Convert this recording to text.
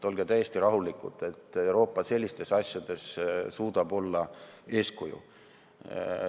Olge täiesti rahulikud, Euroopa suudab sellistes asjades olla eeskuju.